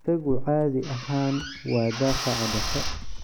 Isagu caadi ahaan waa daafaca dhexe.